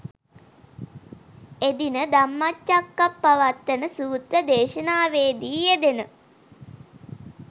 එදින ධම්මචක්කප්පවත්තන සූත්‍ර දේශනාවේ දී යෙදෙන